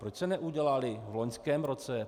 Proč se neudělaly v loňském roce?